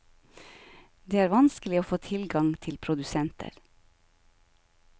Det er vanskelig å få tilgang til produsenter.